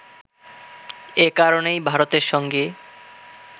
এ কারণেই ভারতের সঙ্গে